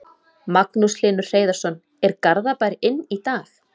Magnús Hlynur Hreiðarsson: Er Garðabær inn í dag?